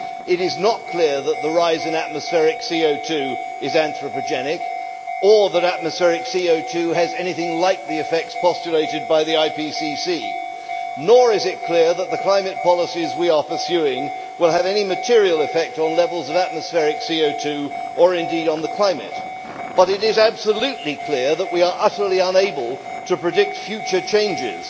It is not clear that the rise in atmospheric CO2 is anthropogenic or that atmospheric CO2 has anything like the effects postulated by the IPCC. Nor is it clear that the climate policies we are pursuing will have any material effect on levels of atmospheric CO2, or indeed on the climate, but it is absolutely clear that we are utterly unable to predict future changes.